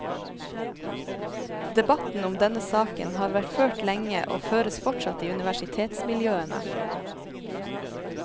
Debatten om denne saken har vært ført lenge og føres fortsatt i universitetsmiljøene.